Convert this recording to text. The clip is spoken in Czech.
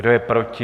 Kdo je proti?